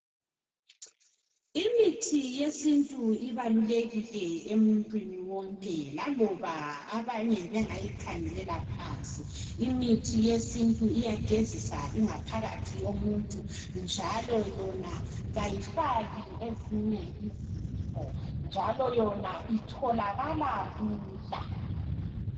Imithi yesintu ibalulekile emuntwini wonke. Laloba abanye abanye bengayikhangelela phansi..lmithi yesintu iyagezisa ingaphakathi yomuntu, njalo yona kayifaki ezinye izifo. Njalo yona itholakala lula.